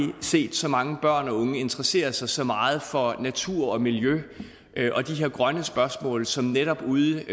set så mange børn og unge interessere sig så meget for natur og miljø og de her grønne spørgsmål som netop ude